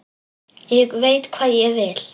Ég veit hvað ég vil!